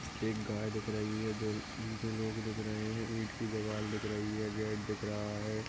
एक गाय दिख रही है दो लोग दिख रहे है इट कि दिवार दिख रही है गेट दिख रहा है।